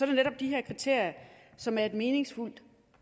netop de her kriterier som er et meningsfuldt